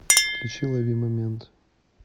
включи ловимомент